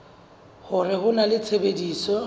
hore ho na le tshebetso